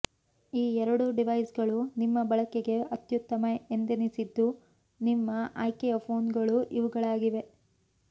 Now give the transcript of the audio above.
ಈ ಎರಡೂ ಡಿವೈಸ್ಗಳು ನಿಮ್ಮ ಬಳಕೆಗೆ ಅತ್ಯುತ್ತಮ ಎಂದೆನಿಸಿದ್ದು ನಿಮ್ಮ ಆಯ್ಕೆಯ ಫೋನ್ಗಳು ಇವುಗಳಾಗಿವೆ